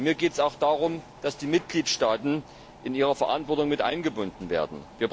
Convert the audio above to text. Mir geht es auch darum, dass die Mitgliedstaaten in ihrer Verantwortung mit eingebunden werden.